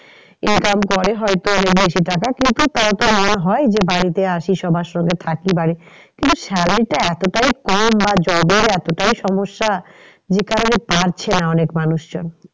Income করে যদিও কিন্তু তারও তো মনে হয় যে বাড়িতে আসি সবার সঙ্গে কিন্তু salary টা এতটাই কম বা job এর এতটাই সমস্যা যে কারণে পারছে না অনেক মানুষ